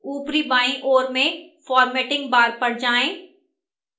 ऊपरी बाईं ओर में formatting bar पर जाएं